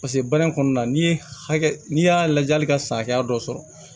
Paseke baara in kɔnɔna na n'i ye hakɛ n'i y'a lajɛ hali ka san hakɛya dɔ sɔrɔ